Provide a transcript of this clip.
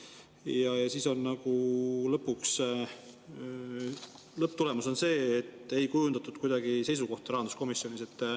Ja siis on nagu lõpptulemus see, et ei kujundatud seisukohta rahanduskomisjonis.